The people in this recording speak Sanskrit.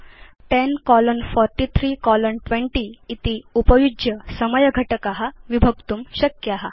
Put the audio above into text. भवान् 10 कोलोन 43 कोलोन 20 इति एवं कोलोन्स् उपयुज्य समयघटकान् विभक्तुं शक्नोति